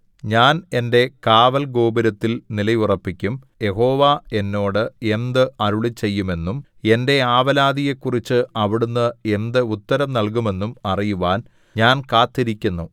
ഞാൻ എന്റെ കാവൽഗോപുരത്തിൽ നിലയുറപ്പിക്കും യഹോവ എന്നോട് എന്ത് അരുളിച്ചെയ്യും എന്നും എന്റെ ആവലാതിയെക്കുറിച്ച് അവിടുന്ന് എന്ത് ഉത്തരം നൽകുമെന്നും അറിയുവാൻ ഞാൻ കാത്തിരിക്കുന്നു